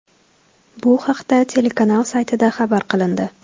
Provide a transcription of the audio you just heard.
Bu haqda telekanal saytida xabar qilindi .